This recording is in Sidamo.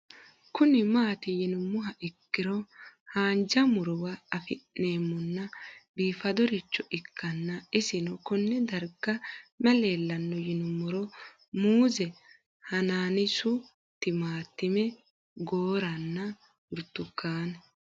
Kuni mati yinumoha ikiro hanja murowa afine'mona bifadoricho ikana isino Kone darga mayi leelanno yinumaro muuze hanannisu timantime gooranna buurtukaane